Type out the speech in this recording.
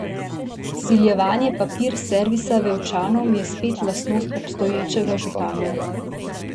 Vsiljevanje Papir servisa Vevčanom je spet lastnost obstoječega župana.